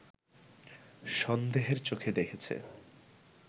সন্দেহের চোখে দেখেছে